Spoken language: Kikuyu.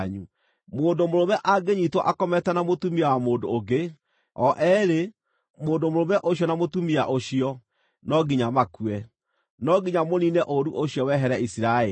Mũndũ mũrũme angĩnyiitwo akomete na mũtumia wa mũndũ ũngĩ, o eerĩ, mũndũ mũrũme ũcio na mũtumia ũcio, no nginya makue. No nginya mũniine ũũru ũcio wehere Isiraeli.